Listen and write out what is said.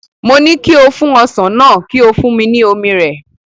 Mo ní kí o fún ọsàn náà, kí o fún mi ní omi rẹ̀.